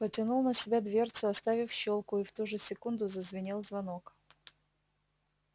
потянул на себя дверцу оставив щёлку и в ту же секунду зазвенел звонок